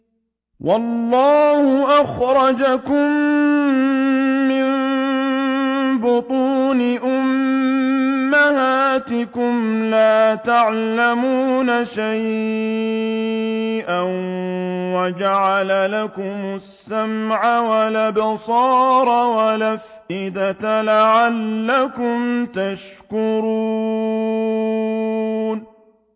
وَاللَّهُ أَخْرَجَكُم مِّن بُطُونِ أُمَّهَاتِكُمْ لَا تَعْلَمُونَ شَيْئًا وَجَعَلَ لَكُمُ السَّمْعَ وَالْأَبْصَارَ وَالْأَفْئِدَةَ ۙ لَعَلَّكُمْ تَشْكُرُونَ